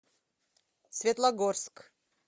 светлогорск